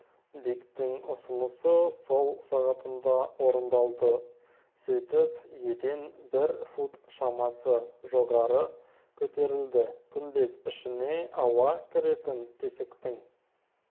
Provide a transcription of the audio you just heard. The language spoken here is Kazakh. диктің ұсынысы сол сағатында орындалды сөйтіп еден бір фут шамасы жоғары көтерілді күмбез ішіне ауа-кіретін тесіктің